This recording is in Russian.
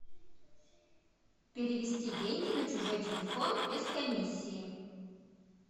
перевести деньги на чужой телефон без комиссии